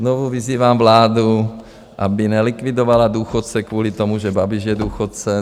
Znovu vyzývám vládu, aby nelikvidovala důchodce kvůli tomu, že Babiš je důchodce.